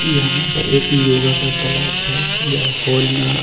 यहाँ पर एक योगा का क्लास है यह हॉल में है।